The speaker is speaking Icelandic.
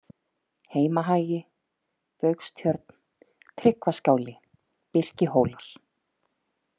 Heimahagi, Baugstjörn, Tryggvaskáli, Birkihólar